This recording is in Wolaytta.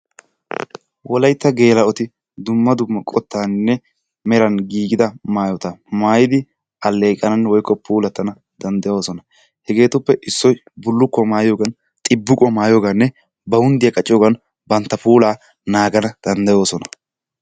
Wolaytta geela"oti dumma dumma qottaaninne meran giigida maayotta maayidi alleeqana woykko puulattana danddayoosona. Hegetuppe issoy bulukkuwaa maayiyoogan xibiqquwaa mayiyooganne bonddiyaa qacciyoogan bantta pulaa naaganawu danddayoosona.